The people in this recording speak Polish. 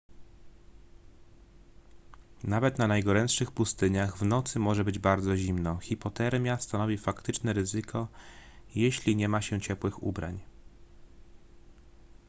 nawet na najgorętszych pustyniach w nocy może być bardzo zimno hipotermia stanowi faktyczne ryzyko jeśli nie ma się ciepłych ubrań